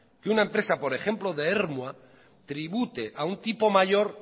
que una empresa por ejemplo de ermua tribute a un tipo mayor